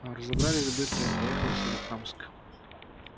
а разобрались быстро и поехал в соликамск